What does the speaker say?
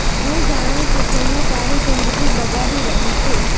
હું જાણું છું કે હું તારી જિંદગી બગાડી રહી છું